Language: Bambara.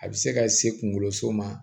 A bɛ se ka se kunkoloso ma